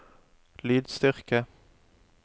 lydstyrke